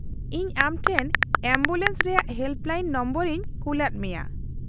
-ᱤᱧ ᱟᱢ ᱴᱷᱮᱱ ᱮᱢᱵᱩᱞᱮᱱᱥ ᱨᱮᱭᱟᱜ ᱦᱮᱞᱯᱞᱟᱭᱤᱱ ᱱᱚᱢᱵᱚᱨ ᱤᱧ ᱠᱩᱞᱟᱫ ᱢᱮᱭᱟ ᱾